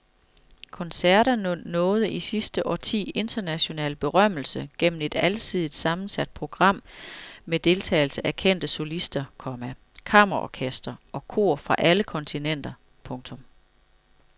Koncerterne nåede i sidste årti international berømmelse gennem et alsidigt sammensat program med deltagelse af kendte solister, komma kammerorkestre og kor fra alle kontinenter. punktum